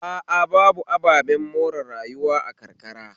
A a babu ababen more rayuwa a karkara